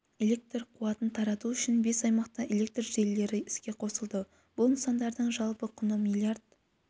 электр қуатын тарату үшін бес аймақта электр желілері іске қосылды бұл нысандардың жалпы құны миллиард